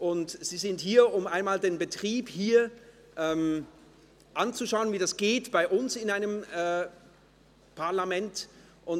Sie sind bei uns, um den Betrieb hier anzuschauen und wie es bei uns im Parlament abläuft.